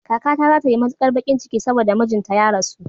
Kakata za ta yi matukar bakin ciki saboda mijinta ya rasu.